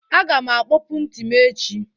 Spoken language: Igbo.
Agam akpọpu nti m echi